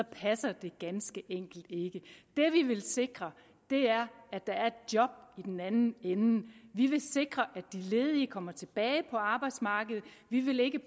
passer ganske enkelt ikke det vi vil sikre er at der er et job i den anden ende vi vil sikre at de ledige kommer tilbage på arbejdsmarkedet vi vil ikke